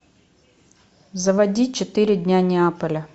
заводи четыре дня неаполя